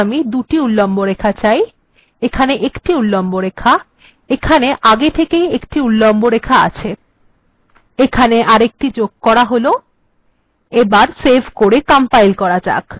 এখানে আমি দুটি উল্লম্ব রেখা চাই এখানে আমি একটি উল্লম্ব রেখা চাই আগের থেকেই এখানে এই লাইনটি ছিল এখানে এরএকটি যোগ করা যাক কম্পাইল্ করে দেখা যাক